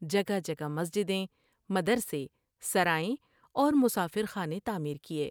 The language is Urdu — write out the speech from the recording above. جگہ جگہ مسجدیں ، مدر سے ، سرائیں اور مسافر خانے تعمیر کیے ۔